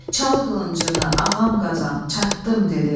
Çal qılıncını, ağam Qazan, çatdım dedi.